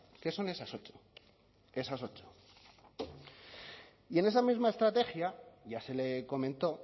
que son esas ocho esas ocho y en esa misma estrategia ya se le comentó